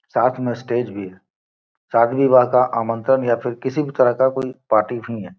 साथ में स्टेज भी है शादी विवाह का आमंत्रण या फिर किसी भी तरह का कोई पार्टी भी है।